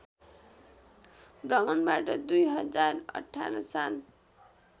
भ्रमणबाट २०१८ साल